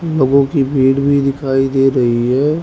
लोगों की भीड़ भी दिखाई दे रही है।